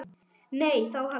Nei, þá hafði Jón